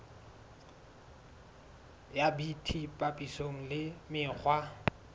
ya bt papisong le mekgwa